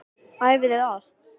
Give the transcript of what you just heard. Æfið þið oft?